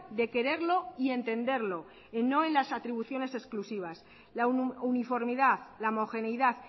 de quererlo y entenderlo no en las atribuciones exclusivas la uniformidad la homogeneidad